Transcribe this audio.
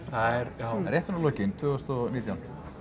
já rétt svona í lokin tvö þúsund og nítján